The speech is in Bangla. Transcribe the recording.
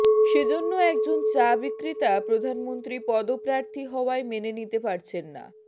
সেজন্য একজন চা বিক্রেতা প্রধানমন্ত্রী পদপ্রার্থী হওয়ায় মেনে নিতে পারছেন না